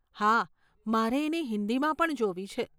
હા, મારે એને હિંદીમાં પણ જોવી છે.